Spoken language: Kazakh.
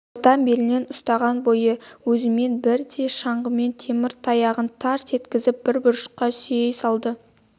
ортан белінен ұстаған бойы өзімен бірдей шаңғының темір таяғын тарс еткізіп бір бұрышқа сүйей салды